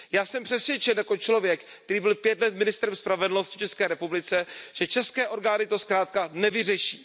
Já jsem přesvědčen jako člověk, který byl pět let ministrem spravedlnosti České republiky, že české orgány to zkrátka nevyřeší.